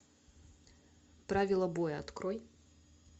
правила боя открой